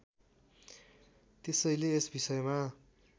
त्यसैले यस विषयमा